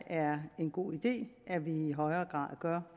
er en god idé at vi i højere grad gør